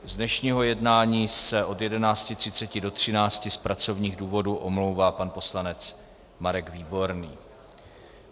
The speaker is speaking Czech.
Z dnešního jednání se od 11.30 do 13.00 z pracovních důvodů omlouvá pan poslanec Marek Výborný.